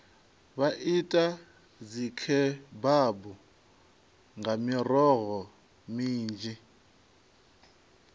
vha ite dzikhebabu nga miroho minzhi